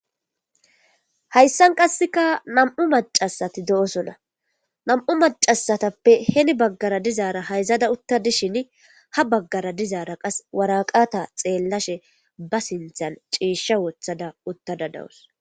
Hayssan qasseka nam'u macasati do'osona nam'u macasatappe heni baggara dizaara hayzada utta dishin ha baggara dizaara qas waraqata xeellashe ba sinthan ciisha wothada uttada dawus.